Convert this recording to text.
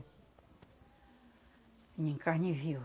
Vinha em carne viva.